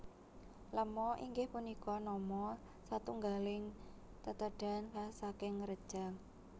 Lema inggih punika nama satunggaling tetedhan khas saking Rejang